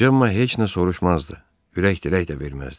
Cemma heç nə soruşmazdı, ürək dirək də verməzdi.